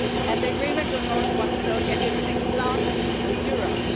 The agreement on North Macedonia is an example for Europe.